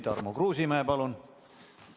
Tarmo Kruusimäe, palun!